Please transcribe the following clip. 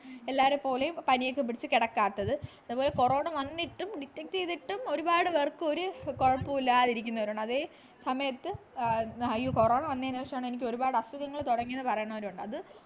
എല്ലാരെ പോലെയും പണിയൊക്കെ പിടിച്ചു കെടക്കാത്തത് അതുപോലെ corona വന്നിട്ടും detect ചെയ്തിട്ടും ഒരുപാട് പേർക്ക് ഒരു കൊഴപ്പോം ഇല്ലാതിരിക്കുന്നവരുണ്ട് അതെ സമയത്ത് ആഹ് corona വന്നെന് ശേഷമാണ് എനിക്കൊരുപാട് അസുഖങ്ങൾ തുടങ്ങിയത് എന്ന് പറയുന്നവരുണ്ട്